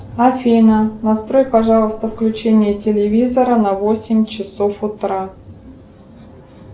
афина настрой пожалуйста включение телевизора на восемь часов утра